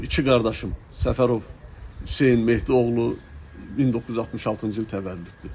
Mənim iki qardaşım Səfərov Hüseyn Mehdioğlu, 1966-cı il təvəllüddü.